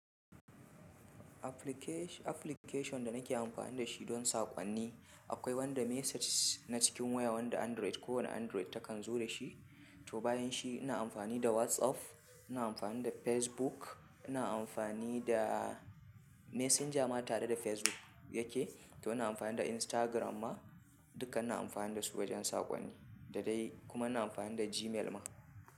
Application da nake amfani da shi don saƙonni akwai wanda message na cikin wayar wanda Android kowani Android ta kan zo da shi. To bayan shi ina amfani da WhatsApp, ina amfani da Facebook, ina amfani da Messenger ma tare da Facebook yake, to ina amfani da Instagram ma dukkan ina amfani da su wajen saƙonni da dai kuma ina amfani da Gmail ma.